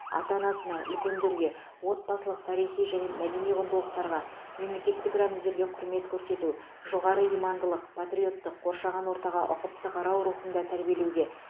ата анасына үлкендерге отбасылық тарихи және мәдени құндылықтарға мемлекеттік рәміздерге құрмет көрсету жоғары имандылық патриоттық қоршаған ортаға ұқыпты қарау рухында тәрбиелеуге